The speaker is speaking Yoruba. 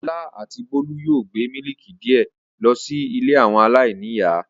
Ọlá àti Bólú yóò gbé mílíkì díẹ̀ lọ sí ilé àwọn aláìníìyá.